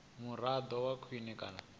muraḓo a vhe khwine kana